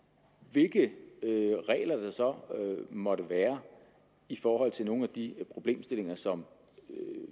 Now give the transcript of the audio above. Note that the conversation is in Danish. hvilke regler der så måtte være i forhold til nogle af de problemstillinger som